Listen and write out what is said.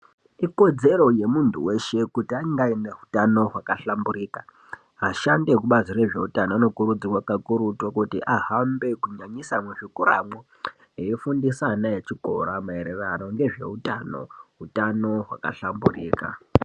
Ikodzero yemuntu weshe kuti ange ane utano hwakahlamburika vashandi vekubazi rezveutano vanokurudzirwa kakurutu kuti ahambe kunyanyisa muzvikoramwo eifundisa ana echikora maererano ngezveutano utano hwakahlambirika.